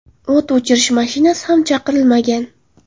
O‘t o‘chirish mashinasi ham chaqirilmagan.